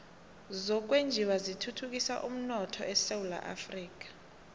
zokwenjiwa zithuthukisa umnotho esewula afrika